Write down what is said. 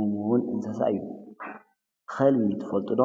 እሙውን እንሰሳዩ ኸልቢ ትፈልጡዶ?